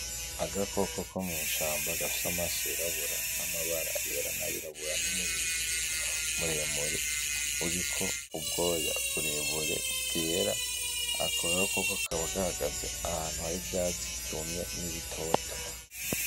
Agakoko ko mw'ishamba gafise amaso yirabura, amabara yera nayirabura n'umurizo muremure uriko ubwoya burebure bwera. Ako gakoko kakaba gahagaze ahantu harivyatsi vyumye n'ibitoto.